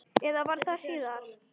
Eða var það síðar?